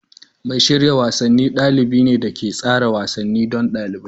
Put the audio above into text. Mai shirya wasanni dalibi ne da ke tsara wasanni don ɗalibin.